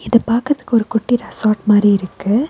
இது பாக்குறதுக்கு ஒரு குட்டி ரெசார்ட் மாரி இருக்கு.